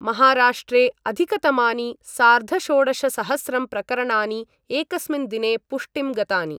महाराष्ट्रे अधिकतमानि सार्धषोडशसहस्रं प्रकरणानि एकस्मिन् दिने पुष्टिं गतानि।